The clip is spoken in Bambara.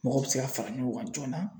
Mɔgɔw bɛ se ka fara ɲɔgɔn kan joona.